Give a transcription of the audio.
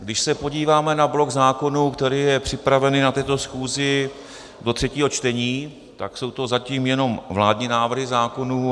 Když se podíváme na blok zákonů, který je připravený na této schůzi do třetího čtení, tak jsou to zatím jenom vládní návrhy zákonů.